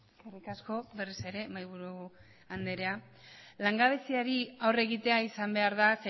eskerrik asko berriz ere mahaiburu andrea langabeziari aurre egitea izan behar da